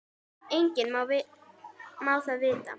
Enginn má það vita.